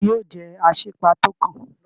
Tani yóò jẹ́ Asípa tó kàn?